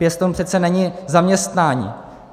Pěstoun přece není zaměstnání.